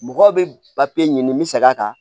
Mɔgɔw bɛ papiye ɲini n bɛ sɛg'a kan